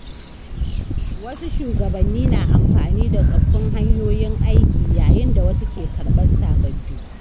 Wasu shugabanni na amfani da tsoffin hanyoyin aiki, yayin da wasu ke karɓar sababbi.